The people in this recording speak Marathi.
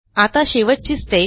आता शेवटची स्टेप